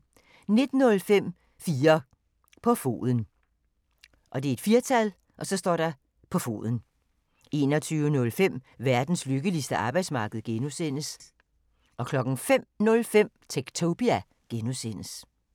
19:05: 4 på foden 21:05: Verdens lykkeligste arbejdsmarked (G) 05:05: Techtopia (G)